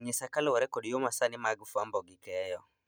Ng'isa kaluwore kod yoo masani mag fuambo gi keyo